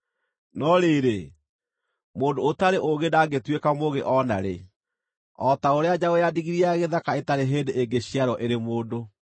No rĩrĩ, mũndũ ũtarĩ ũũgĩ ndangĩtuĩka mũũgĩ o na rĩ, o ta ũrĩa njaũ ya ndigiri ya gĩthaka ĩtarĩ hĩndĩ ĩngĩciarwo ĩrĩ mũndũ.